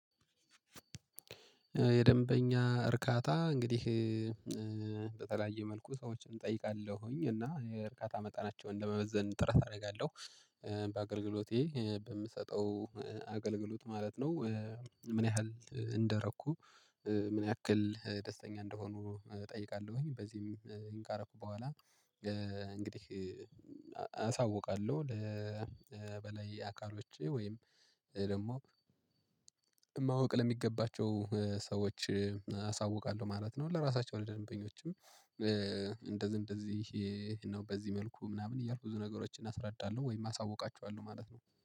የደንበኛ እርካታ እንግዲህ በተለያየ መልኩ ሰዎችን እጠይቃለሁኝ እና እርካታ መጠናቸውን ለመመዘን ጥረት አደርጋለሁ በአገልግሎቴ በምሰጠው አገልግሎት ማለት ነው። ምን ያህል እንደረኩ ምን ያክል ደስተኛ እንደሆኑ እጠይቃለሁኝ። በዚህም ካረኩ በኋላ እንግዲህ አሳውቃለሁ ለ በላይ አካሎች ወይም ደግሞ ማወቅ ለሚገባቸው ሰዎች አሳውቃለሁ ማለት ነው። ለራሳቸው ለደንበኞችም እንደዚህ እንደዚህ ይሄ ነው በዚህ መልኩ ምናምን እያልኩ ብዙ ነገሮችን አስረዳለሁ ወይም አሳውቃቸዋለሁ ማለት ነው